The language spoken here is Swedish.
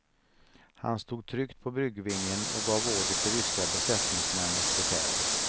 Han stod tryggt på bryggvingen och gav order till ryska besättningsmän och befäl.